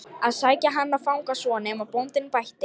að sækja hann og fanga svo, nema bóndinn bætti.